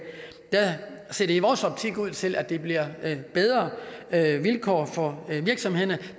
ser det i vores optik ud til at det giver bedre vilkår for virksomhederne